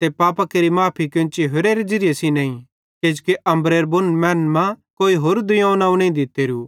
ते पापां केरि माफ़ी केन्ची होरेरे ज़िरिये सेइं नईं किजोकि अम्बरेरां बुन मैनन् मां कोई होरू दुइयोवं नवं नईं दित्तेरू